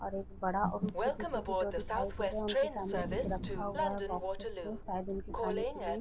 और एक बड़ा और उसके पीछे भी दो दिखाई दे रहे हैं। उनके सामने कुछ रखा हुआ है बॉक्सेस में शायद उनके खाने के लिए।